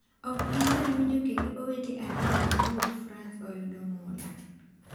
Ok inyal winjo kendo owete ariyogo mowuok frans oyudo mula!